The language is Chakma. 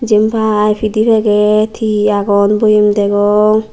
jyepai pidey packet he he agon boyem degong.